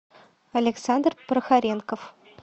александр прохоренков